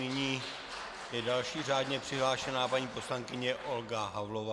Nyní je další řádně přihlášená paní poslankyně Olga Havlová.